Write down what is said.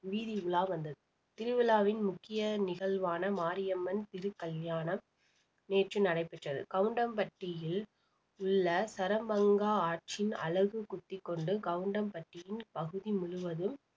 வீதி உலா வந்தது திருவிழாவின் முக்கிய நிகழ்வான மாரியம்மன் திருக்கல்யாணம் நேற்று நடைபெற்றது கவுண்டம்பட்டியில் உள்ள சரமங்கா ஆற்றின் அலகு குத்திக்கொண்டு கவுண்டம்பட்டியின் பகுதி முழுவதும்